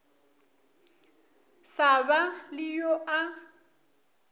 sa ba le yo a